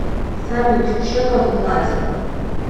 салют чек об оплате